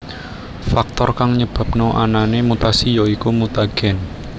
Faktor kang nyebabna anané mutasi ya iku mutagen